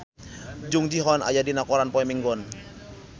Jung Ji Hoon aya dina koran poe Minggon